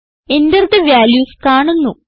enter the values കാണുന്നു